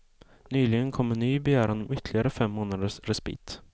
Nyligen kom en ny begäran om ytterligare fem månaders respit.